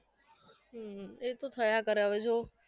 હમ એ તો થયા કરે હવે જોવો